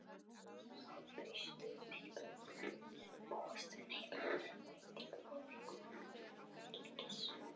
Má búast við miklum breytingum á leikmannahópi Fylkis?